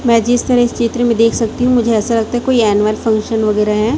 मैं जिस तरह इस चित्र में देख सकती हूं मुझे ऐसा लगता है कोई एनुअल फंक्शन वगैरा है।